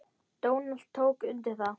Donald tók undir það.